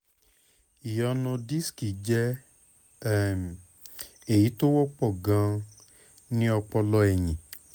ìyọnu disiki jẹ́ um èyí tó wọ́pọ̀ gan-an ni ọpọlọ ẹ̀yìn